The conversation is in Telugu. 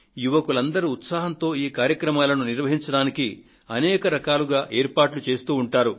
యువకులంతా ఉత్సాహంతో ఈ కార్యక్రమాలను నిర్వహించడానికి అనేక రకాలుగా ఏర్పాట్లు చేస్తూ ఉంటారు